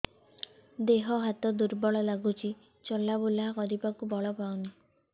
ଦେହ ହାତ ଦୁର୍ବଳ ଲାଗୁଛି ଚଲାବୁଲା କରିବାକୁ ବଳ ପାଉନି